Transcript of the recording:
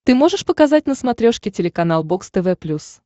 ты можешь показать на смотрешке телеканал бокс тв плюс